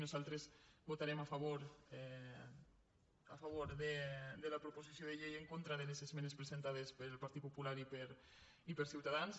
nosaltres vota·rem a favor de la proposició de llei i en contra de les esmenes presentades pel partit popular i per ciuta·dans